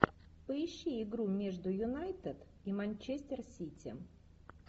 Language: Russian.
поищи игру между юнайтед и манчестер сити